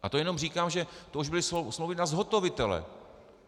A to jenom říkám, že to už byly smlouvy na zhotovitele.